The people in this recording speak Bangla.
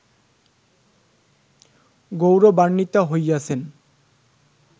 গৌরবান্বিতা হইয়াছেন